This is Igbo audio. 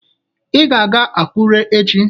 Ị ga-aga Akụre echi!